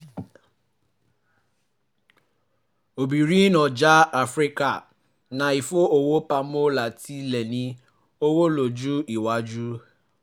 obìnrin ọjà áfíríkà ń fi owó pamọ́ láti lè ní owó lọ́jọ́ iwájú